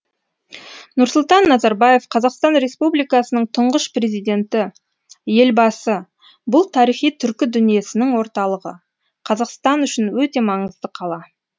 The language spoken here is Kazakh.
нұрсұлтан назарбаев қазақстан республикасының тұңғыш президенті елбасы бұл тарихи түркі дүниесінің орталығы қазақстан үшін өте маңызды қала